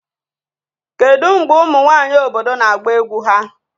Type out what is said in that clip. Kedu mgbe ụmụ nwanyị obodo na-agba egwu ha?